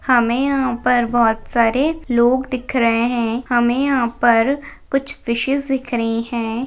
हमें यहापर बहुत सारे लोग दिख रहे है हमे यहापर कुछ फीशेस दिख रही है।